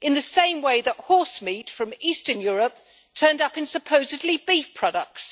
in the same way that horse meat from eastern Europe turned up in supposedly beef products.